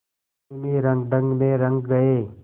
पश्चिमी रंगढंग में रंग गए